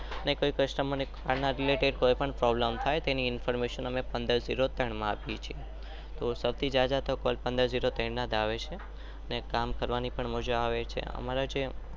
ને કોઈ કસ્ટમર ને આપીએ છીએ.